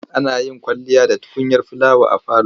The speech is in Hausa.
Ana yin kwalliya da tukunyar filawa a falo.